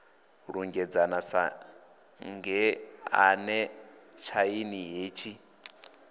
lunzhedzana sa ngeḓane tshaini hetshi